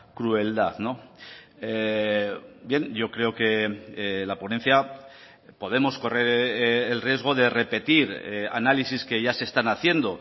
crueldad bien yo creo que la ponencia podemos correr el riesgo de repetir análisis que ya se están haciendo